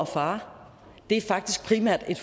far det er faktisk primært en